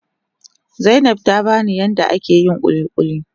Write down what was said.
Zainab tabani yadda ake yin kulikuli.